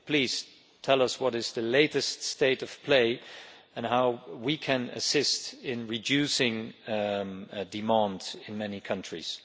Please tell us the latest state of play and how we can assist in reducing demand in many countries.